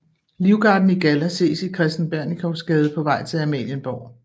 Livgarden i galla ses i Kristen Bernikowsgade på vej til Amalienborg